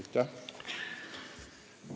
Aitäh!